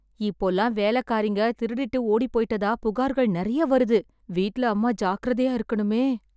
இப்போல்லாம் வேலைக்காரிங்க திருடிட்டு ஓடிப்போய்ட்டதா புகார்கள் நெறைய வருது... வீட்ல அம்மா ஜாக்கிரதையா இருக்கணுமே...